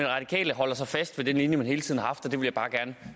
radikale holder så fast ved den linje de hele tiden